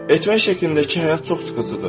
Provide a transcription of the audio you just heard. Etmək şəklindəki həyat çox sıxıcıdır.